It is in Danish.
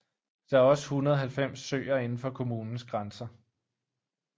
Der er også 190 søer indenfor kommunens grænser